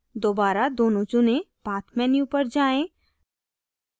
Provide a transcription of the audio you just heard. दोबारा दोनों चुनें path menu पर जाएँ